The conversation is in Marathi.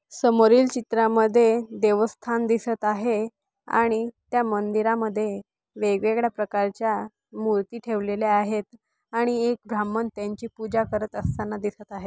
समोरील चित्रामध्ये देवस्थान दिसत आहे आणि त्या मंदिरामध्ये वेगवेगळ्या प्रकारच्या मूर्ति ठेवलेल्या आहेत आणि एक ब्राम्हण त्यांची पूजा करत असताना दिसत आहेत.